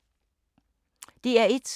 DR1